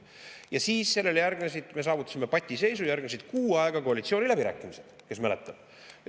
Me saavutasime patiseisu ja sellele järgnesid kuu aega koalitsiooniläbirääkimised, kui mäletate.